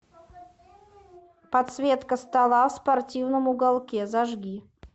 подсветка стола в спортивном уголке зажги